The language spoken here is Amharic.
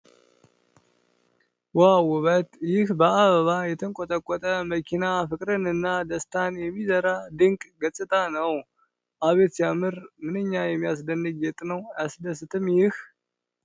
ዋው ውበት! ይህ በአበባ የተንቆጠቆጠ መኪና ፍቅርንና ደስታን የሚዘራ ድንቅ ገጽታ ነው። አቤት ሲያምር! ምንኛ የሚያስደንቅ ጌጥ! አያስደስትም ይህ! !